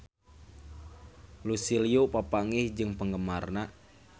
Lucy Liu papanggih jeung penggemarna